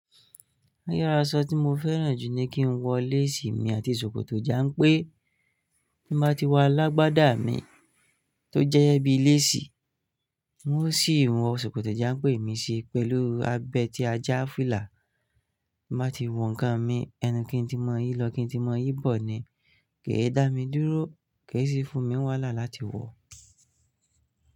Iru aṣọ ti mo fẹ́ràn jù ni ki n wọ léèsì mi àti ṣòkòtò jánpé. Bí mo bá ti wọ alágbádá mi tó jẹ́ẹ bí léèsì, un ó sì wọ ṣòkòtò jánpé mi sí pẹ̀lú abẹtíajá filà. Ti mbáa ti wọ nǹkan mi, ẹnu kín tí mo yìí lọ, kín tí mo yìí bọ̀ ni. Kèé dá mi dúró, kèé sì fún mi wàhálà láti wọ̀